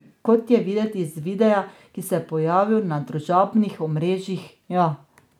Kot je videti iz videa, ki se je pojavil na družabnih omrežjih, ja.